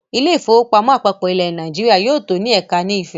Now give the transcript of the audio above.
“ Ilé-ìfowópamọ́ àpapọ̀ ilẹ̀ Nàìjíríà ” yóò tó ní ẹ̀ka ni Ifẹ̀.